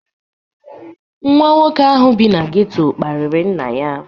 Nwa nwoke ahụ bi na geto kparịrị nna ya.